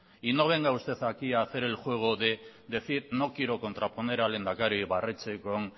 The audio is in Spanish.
y no venga usted aquí a hacer el juego de decir no quiero contraponer al lehendakari ibarretxe con